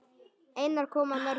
Einar kom að mörgu.